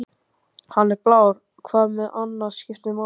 Hann er blár, hvað annað skiptir máli?